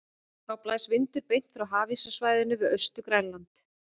Þá blæs vindur beint frá hafíssvæðinu við Austur-Grænland.